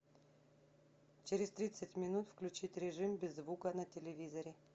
через тридцать минут включить режим без звука на телевизоре